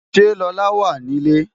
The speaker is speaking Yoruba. Ṣé Lola wà ní ilé?